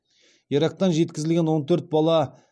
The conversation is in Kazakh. ирактан жеткізілген он төрт бала